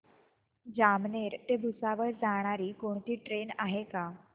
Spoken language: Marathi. जामनेर ते भुसावळ जाणारी कोणती ट्रेन आहे का